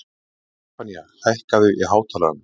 Stefanía, hækkaðu í hátalaranum.